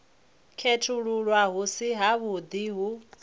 khethululwa hu si havhuḓi ho